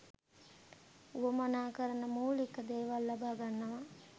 වුවමනා කරන මූලික දේවල් ලබා ගන්නවා.